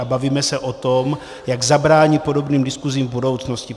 A bavíme se o tom, jak zabránit podobným diskusím v budoucnosti.